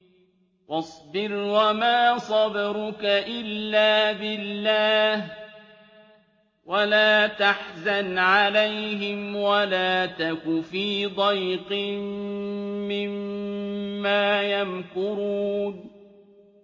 وَاصْبِرْ وَمَا صَبْرُكَ إِلَّا بِاللَّهِ ۚ وَلَا تَحْزَنْ عَلَيْهِمْ وَلَا تَكُ فِي ضَيْقٍ مِّمَّا يَمْكُرُونَ